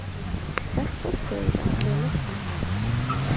Hvert fórstu eiginlega með löggunni?